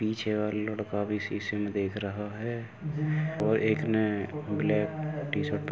पीछे और लड़का भी शीशे में देख रहा है। और एक ने ब्लैक टीशर्ट --